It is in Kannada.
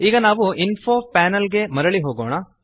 ಈಗ ನಾವು ಇನ್ಫೋ ಪ್ಯಾನೆಲ್ ಗೆ ಮರಳಿ ಹೋಗೋಣ